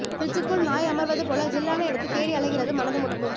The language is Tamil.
ப்ரிட்ஜிக்குள் நாய் அமர்வது போல ஜில்லான இடத்தை தேடி அலைகிறது மனதும் உடம்பும்